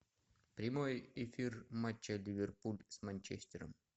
прямой эфир матча ливерпуль с манчестером